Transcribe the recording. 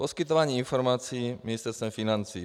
Poskytování informací Ministerstvem financí.